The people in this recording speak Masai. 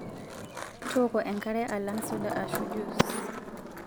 Tooko enkare alang' soda aaashu juis.